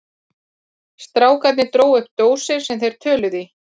Strákarnir drógu upp dósir sem þeir töluðu í.